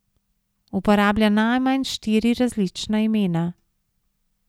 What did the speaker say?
Uporablja najmanj štiri različna imena.